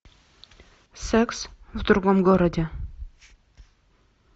секс в другом городе